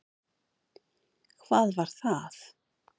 Hvað var það?